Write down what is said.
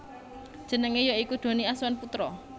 Jenenge ya iku Donny Azwan Putra